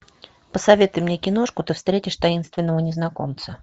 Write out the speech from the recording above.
посоветуй мне киношку ты встретишь таинственного незнакомца